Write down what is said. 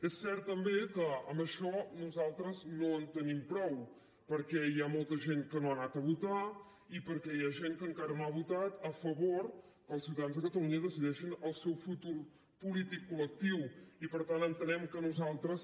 és cert també que amb això nosaltres no en tenim prou perquè hi ha molta gent que no ha anat a votar i perquè hi ha gent que encara no ha votat a favor que els ciutadans de catalunya decideixin el seu futur polític col·lectiu i per tant entenem que nosaltres